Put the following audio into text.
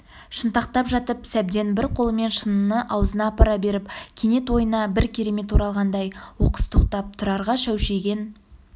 шынтақтап жатып сәбден бір қолымен шыныны аузына апара беріп кенет ойына бір керемет оралғандай оқыс тоқтап тұрарға шәушиген